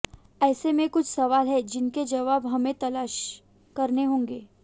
ऐसे में कुछ सवाल हैं जिनके जवाब हमें तलाश करने होंगे